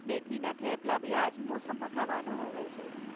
મેથીના થેપલા બી આજ મોસમમાં ખાવાનું હોવે છે.